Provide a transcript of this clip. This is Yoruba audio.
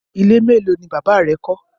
Ile melo ni baba rẹ kọ?